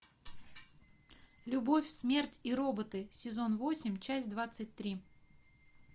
любовь смерть и роботы сезон восемь часть двадцать три